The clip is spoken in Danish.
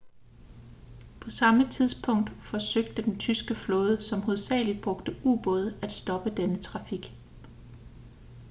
på samme tidspunkt forsøgte den tyske flåde som hovedsageligt brugte ubåde at stoppe denne trafik